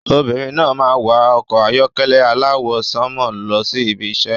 Obìnrin náà máa ń wà ọkọ̀ ayọ́kẹ́lẹ́ aláwọ̀ sánmọ̀ lọ sí ibi iṣẹ́.